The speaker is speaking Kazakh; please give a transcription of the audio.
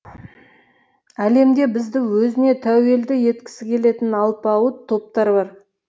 әлемде бізді өзіне тәуелді еткісі келетін алпауыт топтар бар